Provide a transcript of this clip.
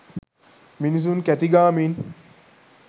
මිනිසුන් කැතිගාමින්